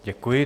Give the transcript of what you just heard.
Děkuji.